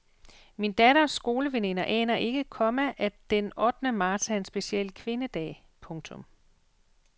Min datters skoleveninder aner ikke, komma at den ottende marts er en speciel kvindedag. punktum